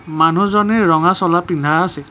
মানুহজনে ৰঙা চলা পিন্ধা আছে।